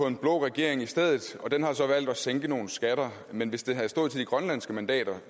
en blå regering i stedet og den har så valgt at sænke nogle skatter men hvis det havde stået til de grønlandske mandater